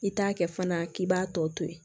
I t'a kɛ fana k'i b'a tɔ to ye